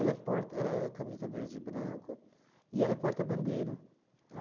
é porta ela é Camisa Verde e Branco e ela é porta-bandeira.